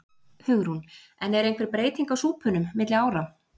Hugrún: En er einhver breyting á súpunum milli ára?